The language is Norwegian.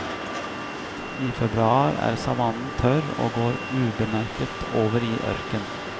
I februar er savannen tørr og går ubemerket over i ørken.